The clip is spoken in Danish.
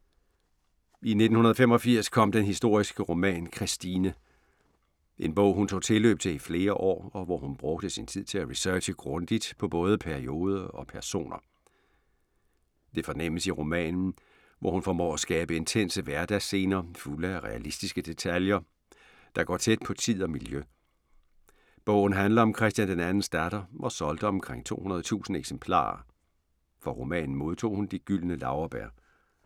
I 1985 kom den historiske roman, Christine. En bog hun tog tilløb til i flere år og hvor hun brugte tid til at researche grundigt på både periode og personer. Det fornemmes i romanen, hvor hun formår at skabe intense hverdagsscener, fulde af realistiske detaljer, der går tæt på tid og miljø. Bogen handler om Christian 2.'s datter og solgte omkring 200.000 eksemplarer. For romanen modtog hun De Gyldne Laurbær.